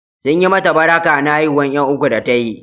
Sun yi mata barka na haihuwar ƴan uku da ta yi.